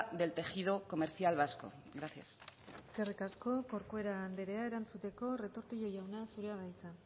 del tejido comercial vasco gracias eskerrik asko corcuera andrea erantzuteko retortillo jauna zurea da hitza